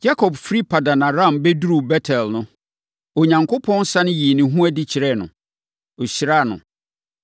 Yakob firi Paddan-Aram bɛduruu Bet-El no, Onyankopɔn sane yii ne ho adi kyerɛɛ no, hyiraa no.